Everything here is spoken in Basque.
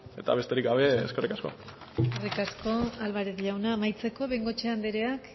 eta besterik gabe eskerrik asko eskerrik asko álvarez jauna amaitzeko bengoechea andreak